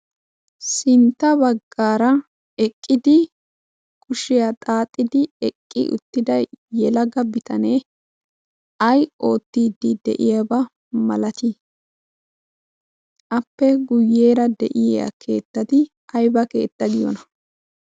Sintta baggara eqqidi kushiyaa xaaxxid eqqi uttida yelaga bitanee ay oottide de'iyaaba milati? appe guyyeera de'iyaa keettati aybba keetta giyoona?